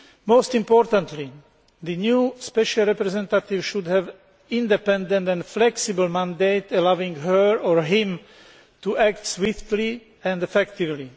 Most importantly, the new Special Representative should have an independent and flexible mandate, allowing him or her to act swiftly and effectively.